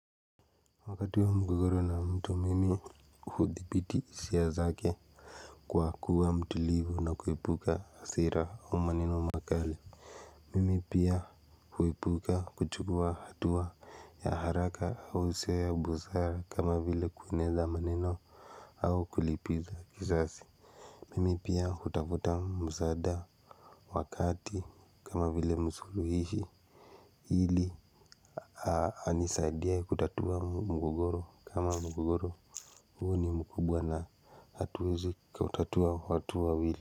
Wakati wa mgogoro na mtu mimi hudhibiti hisia zake kwa kuwa mtulivu na kuepuka hasira au maneno makali. Mimi pia huepuka kuchukua hatua ya haraka au wosia ya busara kama vile kueneza maneno au kulipiza kisasi. Mimi pia hutafuta msaada wakati kama vile msuluhishi ili anisaidie kutatua mgogoro kama mgogoro huo ni mkubwa na hatuwezi kautatua watu wawili.